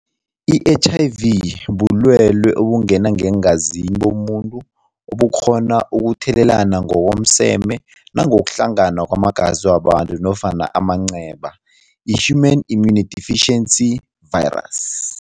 I-H_I_V bulwelwe obungena ngeengazini bomuntu ubukghona ukuthelelana ngokomseme nangokuhlangana kwamazi wabantu nofana amanceba yi-Human Immunodeficiency Virus.